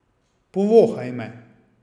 Povohaj me.